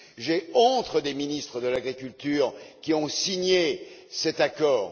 J'ai honte des ministres de l'agriculture qui ont signé cet accord!